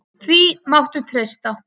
Því máttu treysta.